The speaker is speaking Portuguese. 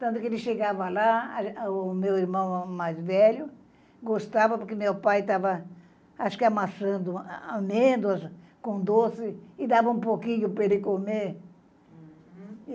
Tanto que ele chegava lá, o meu irmão mais velho, gostava porque meu pai estava, acho que, amassando amêndoas com doce e dava um pouquinho para ele comer.